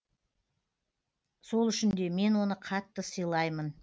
сол үшін де мен оны қатты сыйлаймын